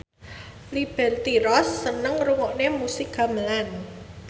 Liberty Ross seneng ngrungokne musik gamelan